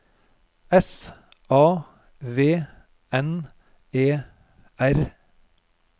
S A V N E R